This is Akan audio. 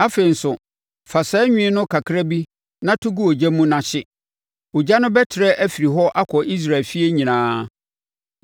Afei nso, fa saa nwi no kakra bi na to gu ogya mu na hye. Ogya no bɛtrɛ afiri hɔ akɔ Israel efie nyinaa.